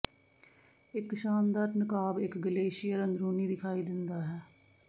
ਇੱਕ ਸ਼ਾਨਦਾਰ ਨਕਾਬ ਇੱਕ ਗਲੇਸ਼ੀਅਰ ਅੰਦਰੂਨੀ ਦਿਖਾਈ ਦਿੰਦਾ ਹੈ